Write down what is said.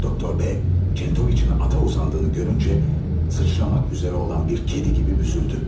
Doktor B Çentoviç'in ata uzandığını görüncə sıçramak üzərə olan bir kedi kimi büzüldü.